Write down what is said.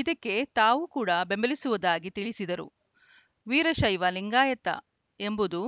ಇದಕ್ಕೆ ತಾವೂ ಕೂಡಾ ಬೆಂಬಲಿಸುವುದಾಗಿ ತಿಳಿಸಿದರು ವೀರಶೈವಲಿಂಗಾಯತ ಎಂಬುದು